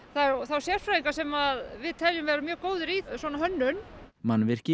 sérfræðinga sem við teljum vera mjög góða í svona hönnun mannvirki